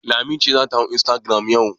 Lami ce za ta hau instagram yau.